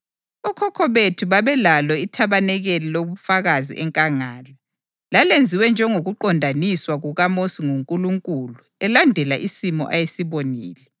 Okhokho bethu babelalo ithabanikeli lobufakazi enkangala. Lalenziwe njengokuqondiswa kukaMosi nguNkulunkulu elandela isimo ayesibonile.